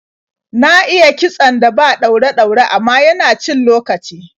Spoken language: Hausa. Na iya kitson da ba ɗaure-ɗaure, amma yana cin lokaci.